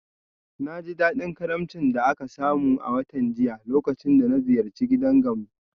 Na ji daɗin karimcin da aka samu a watan jiya lokacin da na ziyarci gidan Gambo.